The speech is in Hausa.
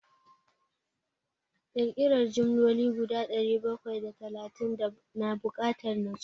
Ƙirƙiran jimloli guda dari bakwai da talatin na bukatar nutsuwa.